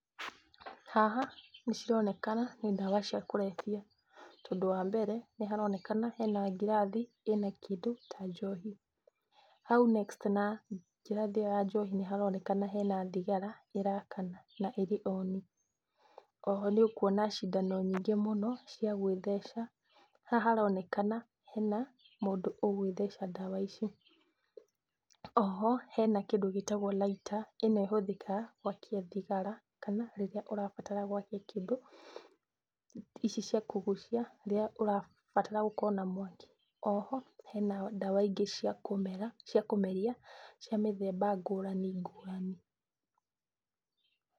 Haha nĩcironekana nĩ ndawa cia kũrebia, tondũ wambere, nĩharonekana hena ngirathi ĩna kĩndũ ta njohi. Hau next na ngirathi ĩyo ya njohi nĩharonekana hena thigara ĩrakana na ĩrĩ oni. Oho nĩũkuona cindano nyingĩ mũno cia gwĩtheca. Haha haronekana hena mũndũ ũgwĩtheca ndawa ici. Oho hena kĩndũ gĩtagwo lighter, ĩno ĩhũthĩkaga gwakia thigara kana rĩrĩa ũrabatara gwakia kĩndũ, ici cia kũgucia rĩrĩa ũrabatara gũkorwo na mwaki. Oho hena ndawa ingĩ cia kũmera cia kũmeria, cia mĩthemba ngũrani ngũrani.